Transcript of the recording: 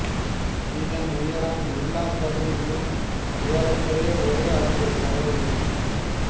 இதன் உயரம் எல்லாப் பகுதிகளிலும் ஏறக்குறைய ஒரே அளவுடையதாக உள்ளது